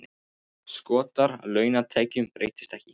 Skattar á launatekjur breytast ekki